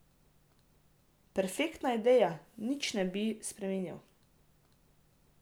Perfektna ideja, nič ne bi spreminjal!